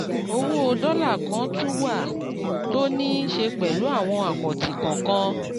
owó dọ́là kan tún wà tó níí ṣe pẹ̀lú àwọn àkáǹtì kọ̀ọ̀kan.